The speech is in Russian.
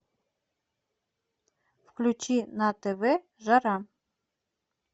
включи на тв жара